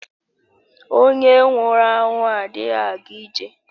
Onye nwụrụ anwụ adịghị aga ije.